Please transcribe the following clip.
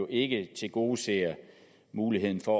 ikke tilgodeser muligheden for